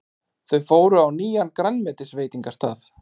Þau fóru á nýjan grænmetisveitingastað.